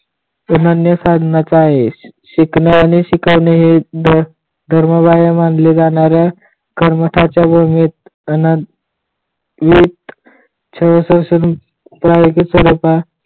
अनन्या साधनाचा यश शिकणे आणि शिकवणे हे धर्माबाह्य मानल्या जाणाऱ्या कर्मठाच्या वहीत अनंत यु शाळा असाच